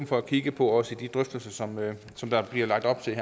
for at kigge på også i de drøftelser som der her bliver lagt op til